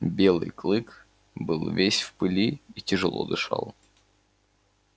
белый клык был весь в пыли и тяжело дышал